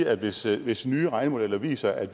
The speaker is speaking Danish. at sige at hvis nye regnemodeller viser at